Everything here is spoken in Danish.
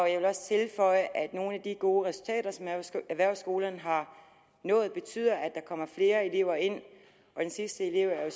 jeg vil også tilføje at nogle af de gode resultater som erhvervsskolerne har nået betyder at der kommer flere elever ind og den sidste elev er